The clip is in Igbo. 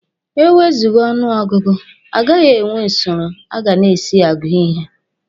E wezụga ọnụ ọgụgụ, agaghị enwe usoro a ga na-esi agụ ihe.